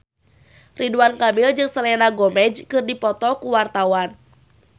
Ridwan Kamil jeung Selena Gomez keur dipoto ku wartawan